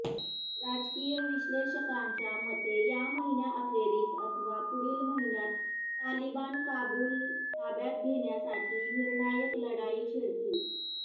राजकीय विश्लेषकांच्या मते या महिन्याअखेरीस अथवा पुढील महिन्यात तालिबान काबूल ताब्यात घेण्यासाठी निर्णायक लढाई छेडतील